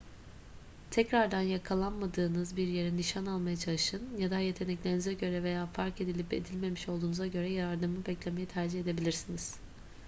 tekrardan yakalanmadığınız bir yere nişan almaya çalışın ya da yeteneklerinize göre veya fark edilip edilmemiş olduğunuza göre yardımı beklemeyi tercih edebilirsiniz